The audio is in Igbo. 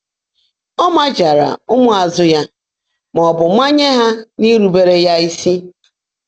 Ọ̀ maàjáàrá ụ́mụ́ázụ́ yá má ọ́ bụ́ mànyèé há írúbèré yá ísí?